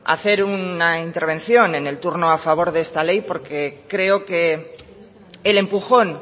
hacer una intervención en el turno a favor de esta ley porque creo que el empujón